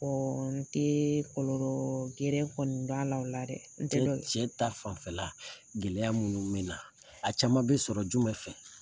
Ɔ n te kɔlɔlɔ gɛrɛ kɔni dɔn a la ola dɛ n te dɔn cɛ ta fanfɛ la gɛlɛya munnu bena a caman be sɔrɔ jumɛn fɛ